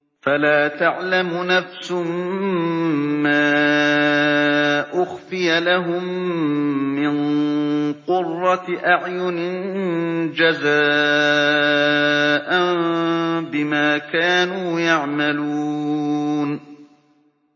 فَلَا تَعْلَمُ نَفْسٌ مَّا أُخْفِيَ لَهُم مِّن قُرَّةِ أَعْيُنٍ جَزَاءً بِمَا كَانُوا يَعْمَلُونَ